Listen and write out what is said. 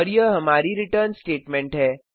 और यह हमारी रिटर्न स्टेटमेंट है